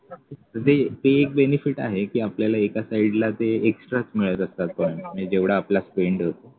म्हणजे ते एक benefit आहे की आपल्याला एका side ला ते extra च मिळत असतात पण जेवढा आपला spend होतो